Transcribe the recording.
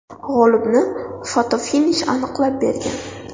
G‘olibni fotofinish aniqlab bergan.